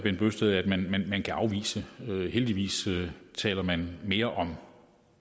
man kan afvise heldigvis taler man mere om